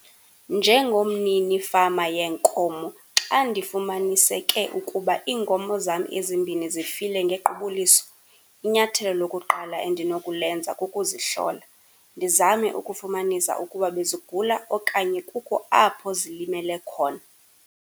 Njengomninifama yeenkomo xa ndifumaniseke ukuba iinkomo zam ezimbini zifile ngequbuliso, inyathelo lokuqala endinokulenza kukuzihlola, ndizame ukufumanisa ukuba bezigula okanye kukho apho zilimele khona.